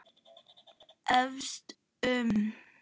efaðist um